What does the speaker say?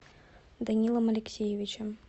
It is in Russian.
данилом алексеевичем